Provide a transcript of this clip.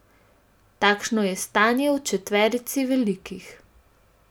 Takšno je stanje v četverici velikih.